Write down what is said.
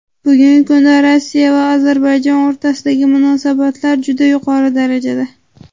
Bugungi kunda Rossiya va Ozarbayjon o‘rtasidagi munosabatlar juda yuqori darajada.